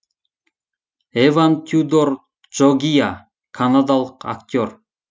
эван тюдор джогиа канадалық актер